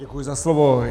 Děkuji za slovo.